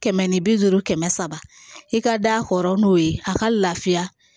Kɛmɛ ni bi duuru kɛmɛ saba i ka da hɔrɔn n'o ye a ka lafiya